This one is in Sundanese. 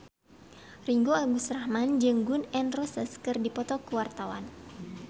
Ringgo Agus Rahman jeung Gun N Roses keur dipoto ku wartawan